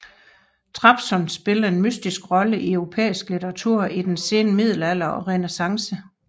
Trabzon spillede en mytisk rolle i europæisk litteratur i den sene middelalder og Renæssance